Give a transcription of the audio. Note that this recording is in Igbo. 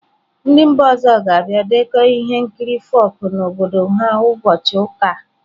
Ndị mba ọzọ ga-abịa dekọọ ihe nkiri folk ha n'obodo ha ụbọchị ụka a.